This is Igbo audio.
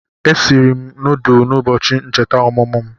Esiri m nudulu n'ubochi ncheta omumu m